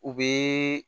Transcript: U bɛ